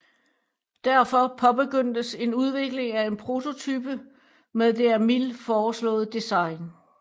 Derfor påbegyndtes en udvikling af en prototype med det af Mil foreslåede design